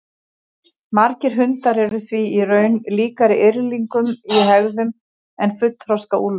Margir hundar eru því í raun líkari yrðlingum í hegðun en fullþroska úlfum.